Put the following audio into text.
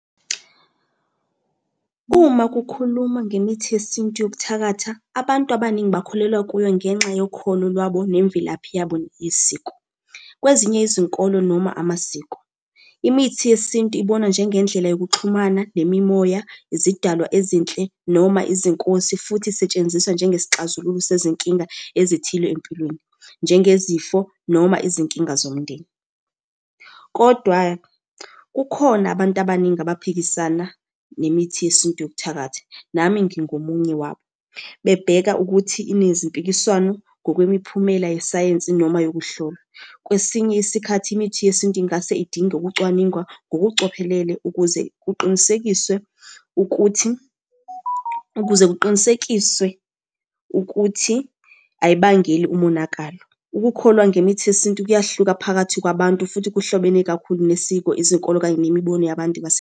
Uma kukhulumwa ngemithi yesintu yokuthakatha, abantu abaningi bakholelwa kuyo ngenxa yokholo lwabo nemvelaphi yabo neyesiko. Kwezinye izinkolo noma amasiko, imithi yesintu ibonwa njengendlela yokuxhumana nemimoya, izidalwa ezinhle noma izinkosi futhi isetshenziswa njengesixazululo sezinkinga ezithile empilweni, njengezifo noma izinkinga zomndeni, kodwa kukhona abantu abaningi abaphikisana nemithi yesintu yokuthakatha, nami ngingomunye wabo. Bebheka ukuthi inezimpikiswano ngokwemiphumela yesayensi noma yokuhlola. Kwesinye isikhathi imithi yesintu ingase idinge ukucwaninga ngokucophelele ukuze kuqinisekiswe ukuthi, ukuze kuqinisekiswe ukuthi ayibangeli umonakalo. Ukukholwa ngemithi yesintu kuyahluka phakathi kwabantu futhi kuhlobene kakhulu nesiko, izinkolo, kanye nemibono yabantu .